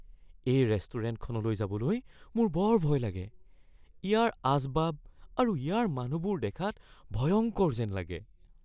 এই ৰেষ্টুৰেণ্টখনলৈ যাবলৈ মোৰ বৰ ভয় লাগে। ইয়াৰ আচবাব আৰু ইয়াৰ মানুহবোৰ দেখাত ভয়ংকৰ যেন লাগে।